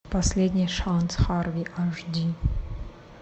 последний шанс харви аш ди